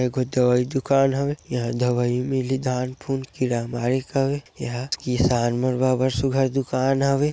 ए कोई दवाई दूकान हवे इहाँ दवाई मिलही धान फ़ून किरा बारी हवे एहा किसान मन ब अब्बड़ सुग्घर दुकान हवे।